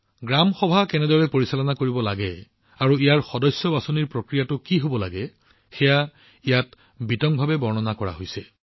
গ্ৰাম সভা কেনেদৰে পৰিচালনা কৰিব লাগে আৰু ইয়াৰ সদস্য বাছনিৰ প্ৰক্ৰিয়া কি হব লাগে সেয়া ইয়াত বিতংভাৱে বৰ্ণনা কৰা হৈছে